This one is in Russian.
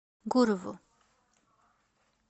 гурову